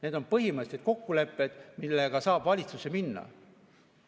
Need on põhimõttelised kokkulepped, millega saab valitsusse minna.